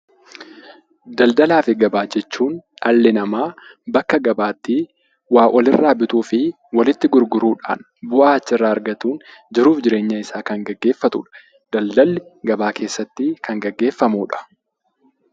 Daldalaa fi gabaa jechuun dhalli namaa bakka gabaatti waa walirraa bituu fi walitti gurguruudhaan, bu'aa achirraa argatuun, jiruuf jireenya isaa kan gaggeeffatudha. Daldalli gabaa keessatti kan gaggeeffamudha.